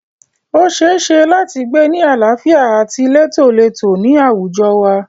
O ṣeéṣe láti gbé ni àlàáfíà àti létólètó ní àwùjọ wa.